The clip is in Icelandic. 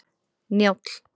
Njáll